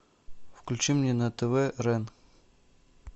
включи мне на тв рен